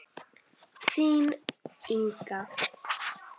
Þín, Inga.